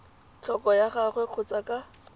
tlhoko ga gagwe kgotsa ka